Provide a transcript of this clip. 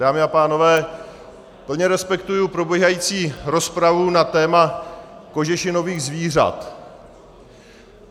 Dámy a pánové, plně respektuji probíhající rozpravu na téma kožešinových zvířat.